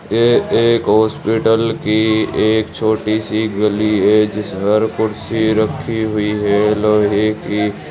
ये एक हॉस्पिटल की एक छोटी सी गली है जिस पर कुर्सी रखी हुई है लोहे की।